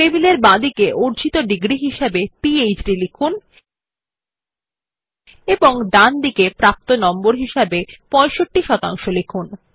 টেবিলে বাঁদিকে অর্জিত ডিগ্রী হিসাবে পিহেড লিখুন এবং ডান দিকে প্রাপ্ত নম্বর হিসাবে ৬৫ শতাংশ লিখুন